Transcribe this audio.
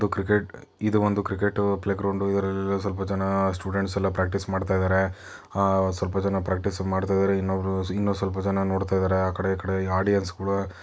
ಒಂದು ಕ್ರಿಕೆಟ್ ಇದು ಒಂದು ಕ್ರಿಕೆಟ್ ಪ್ಲೇ ಗ್ರೌಂಡ್ ಇಲ್ಲಿ ಸಲ್ಪ ಜನ ಸ್ಟೂಡೆಂಟ್ ಪರ್ಕ್ಟಿಸ್ ಮಾಡ್ತ ಇದ್ದಾರೆ ಹಾ ಸಲ್ಪ ಜನ ಪರ್ಕ್ಟಿಸ್ ಮಾಡ್ತ ಇದ್ದಾರೆ ಇನು ಸಲ್ಪ ಜನ ನೋಡ್ತಾ ಇದ್ದಾರೆ ಆ ಕೆಡೆ ಈ ಕಡೆ ಆಡಿಯೆನ್ಸ್ ಗಳು--